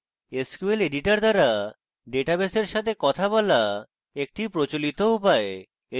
sql editor দ্বারা databases এর সাথে কথা বলা একটি প্রচলিত উপায়